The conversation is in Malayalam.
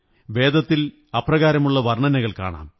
വേദത്തിൽ അപ്രകാരമുള്ള വര്ണ്ണിനകൾ കാണാം